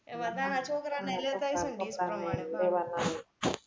એમાં નાના છોકરા ના લેતા એ છે ને dish મળે